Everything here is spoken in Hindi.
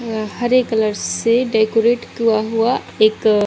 और हरे कलर से डेकोरेट किया हुआ एक --